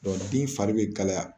den fari bɛ kalaya